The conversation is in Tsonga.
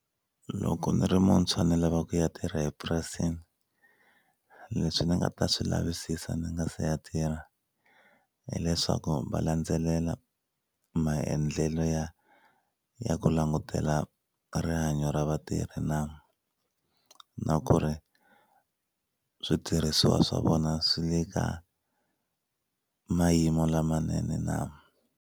Loko ni ri muntshwa ni lava ku ya tirha epurasini leswi ni nga ta swi lavisisa ndzi nga se ya tirha hileswaku va landzelela maendlelo ya ya ku langutela rihanyo ra vatirhi na na ku ri switirhisiwa swa vona swi le ka mayimo lamanene na.